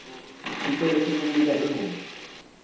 sicelo sekubika ingoti